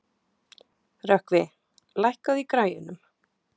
Rökkvi, lækkaðu í græjunum.